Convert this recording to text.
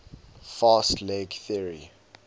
fast leg theory